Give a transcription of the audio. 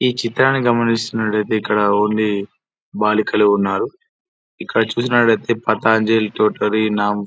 ఈ చిత్రాన్ని గమనిస్తున్నట్లయితే ఇక్కడ ఓన్లీ బాలికలు ఉన్నారు. ఇక్కడ చూసినట్టయితే పతాంజలి త్రొఠారీ నామ్ --